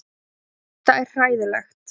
Þetta er hræðilegt.